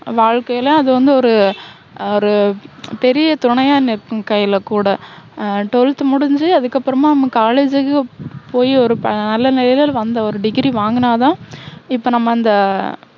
வாழ்க்கையில அது வந்து ஒரு, அஹ் ஒரு, பெரிய துணையா நிற்கும் கைலகூட. ஆஹ் twelfth முடிஞ்சு அதுக்கு அப்பறமா college க்கு போயி ஒரு ப~நல்ல நிலையில வந்த ஒரு degree வாங்குனாதான் இப்போ நம்ம அந்த